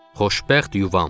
Xoşbəxt yuvam.